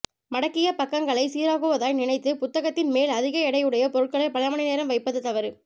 மடங்கிய பக்கங்களை சீராக்குவதாய் நினைத்து புத்தகத்தின் மேல் அதிக எடை உடைய பொருட்களை பல மணி நேரம் வைப்பது தவறு